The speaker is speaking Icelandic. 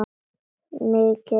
Mikið ertu vænn, segir mamma.